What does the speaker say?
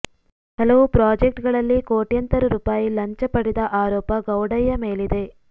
ಹಲವು ಪ್ರಾಜೆಕ್ಟ್ ಗಳಲ್ಲಿ ಕೋಟ್ಯಂತರ ರೂಪಾಯಿ ಲಂಚ ಪಡೆದ ಆರೋಪ ಗೌಡಯ್ಯ ಮೇಲಿದೆ